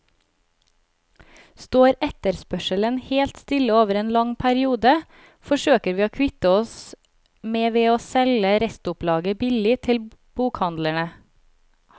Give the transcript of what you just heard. Står etterspørselen helt stille over en lang periode, forsøker vi å kvitte oss med ved å selge restopplaget billig til bokhandlene.